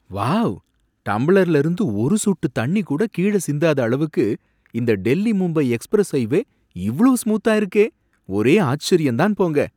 Wow டம்ளர்ல இருந்து ஒரு சொட்டு தண்ணி கூட கீழ சிந்தாத அளவுக்கு இந்த டெல்லி மும்பை எக்ஸ்பிரஸ் ஹைவே இவ்ளோ ஸ்மூத்தா இருக்கே ஒரே ஆச்சரியம் தான் போங்க.